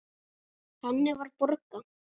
Þannig var Borga.